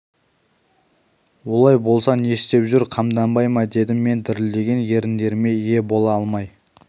олай болса ол не істеп жүр қамданбай ма дедім мен дірілдеген еріндеріме ие бола алмай